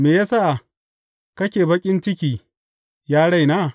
Me ya sa kake baƙin ciki, ya raina?